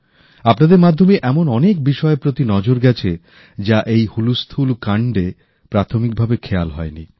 আপনাদের মাধ্যমেই এমন অনেক বিষয়ের প্রতি নজর গেছে যা এই ব্যস্ততার মধ্যে প্রথমে খেয়াল হয়নি